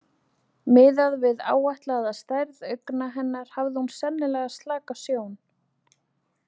Miðað við áætlaða stærð augna hennar hafði hún sennilega slaka sjón.